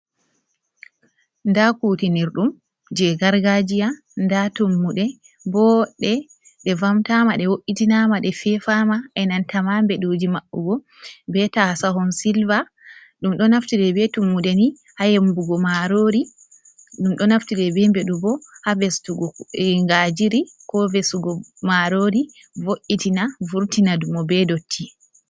Nda kutinir ɗum je gargajiya nda tummude boɗɗe, ɗe vamtama, ɗe wo’itinama, ɗe fefama, enanta ma beɗuji maɓugo, be taasahon silver, ɗum ɗo naftire be tummudeni ha yembugo marori, ɗum ɗo naftire be beɗubo ha vestugo ngajiri, ko vesugo marori, vo’’itina vurtina dumo, be dotti.